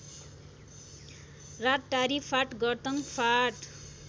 रातटारी फाँट गर्तङ फाँट